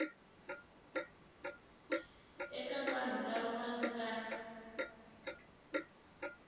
eka vanhu lava va nga